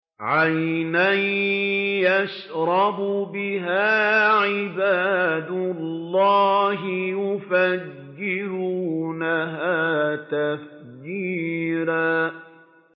عَيْنًا يَشْرَبُ بِهَا عِبَادُ اللَّهِ يُفَجِّرُونَهَا تَفْجِيرًا